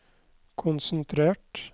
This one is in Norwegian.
konsentrert